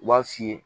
U b'a f'i ye